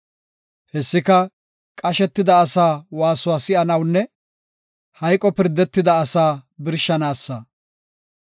Hessika qashetida asaa waasuwa si7anawunne hayqo pirdetida asaa birshanaasa.